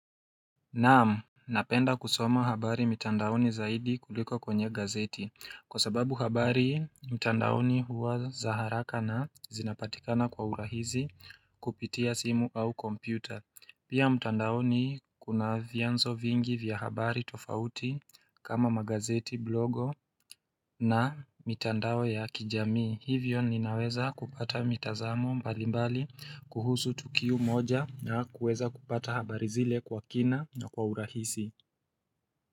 Naam Napenda kusoma habari mitandaoni zaidi kuliko kwenye gazeti Kwa sababu habari mitandaoni huwa za haraka na zinapatikana kwa urahisi kupitia simu au kompyuta Pia mitandaoni kuna vyanzo vingi vya habari tofauti kama magazeti blogo na mitandao ya kijamii Hivyo ninaweza kupata mitazamo mbalimbali kuhusu tukio moja na kuweza kupata habari zile kwa kina na kwa urahisi.